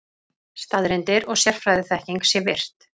Staðreyndir og sérfræðiþekking sé virt.